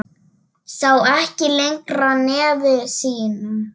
Sá ekki lengra nefi sínu.